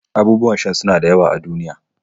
Abubuwan sha suna da yawa a duniya